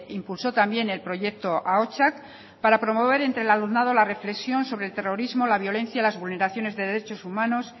impulsó también el proyecto ahotsak para promover entre el alumnado la reflexión sobre el terrorismo la violencia las vulneraciones de derechos humanos